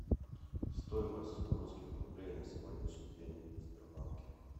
стоимость русских рублей на сегодняшний день в сбербанке